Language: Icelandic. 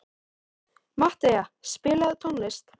Matthea, spilaðu tónlist.